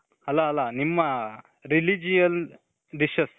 ಅಲ್ಲ ಅಲ್ಲ ನಿಮ್ಮ religion dishes.